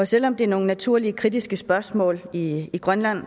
selv om det er nogle naturlige kritiske spørgsmål i grønland